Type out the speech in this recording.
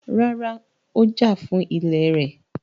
Rárá, Ó jà fún ilẹ̀ rẹ̀.